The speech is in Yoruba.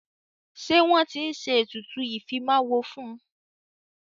Ṣé wọ́n tí ń ṣe ètùtù ìfimáwo fún.